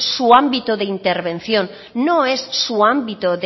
su ámbito de intervención no es su ámbito